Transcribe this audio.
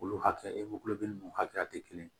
Olu hakɛ e n'u hakɛya tɛ kelen ye